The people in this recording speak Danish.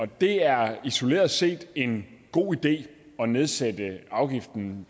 det er isoleret set en god idé at nedsætte afgiften